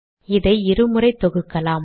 இதை இரு முறை தொகுக்கலாம்